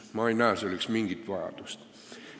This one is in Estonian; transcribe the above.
Ma ei näe selleks mingit vajadust.